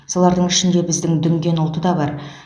солардың ішінде біздің дүнген ұлты да бар